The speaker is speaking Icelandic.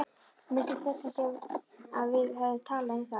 Minntist þess ekki að við hefðum talað um það.